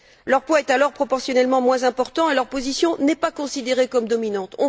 Leurs poids est alors proportionnellement moins important et leur position n'est pas considérée comme dominante.